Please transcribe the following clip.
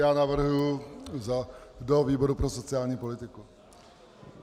Já navrhuji do výboru pro sociální politiku.